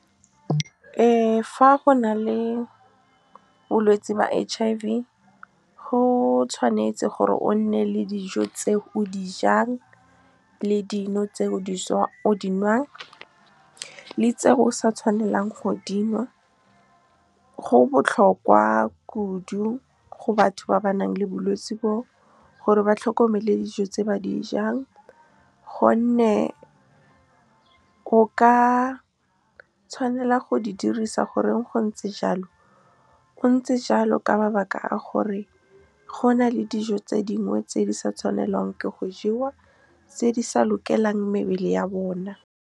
Fa go na le bolwetse ba H_I_V, go tshwanetse gore o nne le dijo tse o dijang, le dino tse o di nwang, le tse o sa tshwanelang go dinwa. Go botlhokwa kudu go batho ba ba nang le bolwetse bo gore ba tlhokomele dijo tse ba di jang, gonne o ka tshwanela go di dirisa gore go ntse jalo, go ntse jalo ka mabaka a gore go na le dijo tse dingwe tse di sa tshwanelang ke go jewa, tse di sa lokelang mebele ya bona. Fa go na le bolwetse ba H_I_V, go tshwanetse gore o nne le dijo tse o dijang, le dino tse o di nwang, le tse o sa tshwanelang go dinwa. Go botlhokwa kudu go batho ba ba nang le bolwetse bo gore ba tlhokomele dijo tse ba di jang, gonne o ka tshwanela go di dirisa gore go ntse jalo, go ntse jalo ka mabaka a gore go na le dijo tse dingwe tse di sa tshwanelang ke go jewa, tse di sa lokelang mebele ya bona.